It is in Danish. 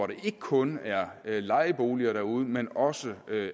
der ikke kun er lejeboliger derude men også